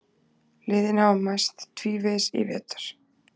Liðin hafa mæst tvívegis í vetur